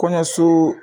Kɔɲɔso